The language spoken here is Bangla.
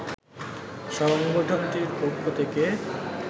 সংগঠনটির পক্ষ থেকে